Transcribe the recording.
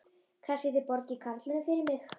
Kannski þið borgið karlinum fyrir mig.